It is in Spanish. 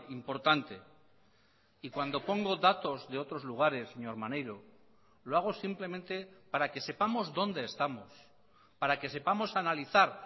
importante y cuando pongo datos de otros lugares señor maneiro lo hago simplemente para que sepamos dónde estamos para que sepamos analizar